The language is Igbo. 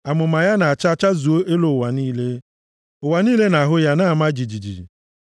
Amụma ya na-acha chazuo elu ụwa niile; ụwa niile na-ahụ ya na-ama jijiji.